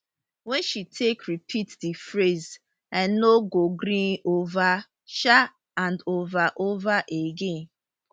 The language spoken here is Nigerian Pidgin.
wey she take repeat di phrase i no go gree ova um and ova ova again